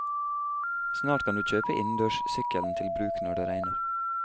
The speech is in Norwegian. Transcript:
Snart kan du kjøpe innendørssykkelen til bruk når det regner.